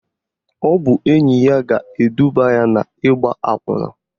Ọ bụ enyi ya ga-eduba ya n'ịgba akwụna